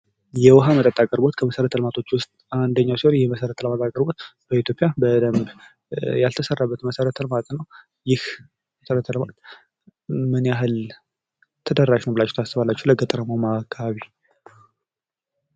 የውኃ መጠጥ አቅርቦት ከመሠረተ ልማቶች ውስጥ አንደኛው ሲሆን ይኽ የመሠረተ ልማት አቅርቦት በኢትዮጵያ በደንብ ያልተሰራበት መሠረተ ልማት ነው። ይህ መሠረተ ልማት ምን ያኽል ተደራሽ ነው ብላችሁ ታስባላችሁ ለገጠራማው አካባቢ?